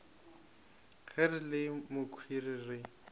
ge re le mokhwi re